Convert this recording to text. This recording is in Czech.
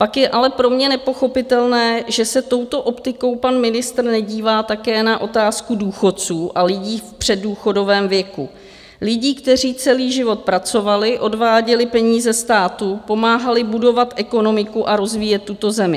Pak je ale pro mě nepochopitelné, že se touto optikou pan ministr nedívá také na otázku důchodců a lidí v předdůchodovém věku, lidí, kteří celý život pracovali, odváděli peníze státu, pomáhali budovat ekonomiku a rozvíjet tuto zemi.